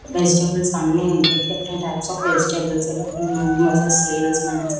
Vegetables అన్నీ ఉంటాయి. Different types of vegetables --]